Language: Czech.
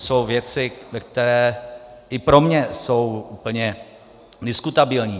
Jsou věci, které i pro mě jsou úplně diskutabilní.